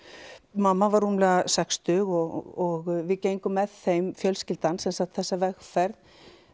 mamma var rúmlega sextug og við gengum með þeim fjölskyldan sem sagt þessa vegferð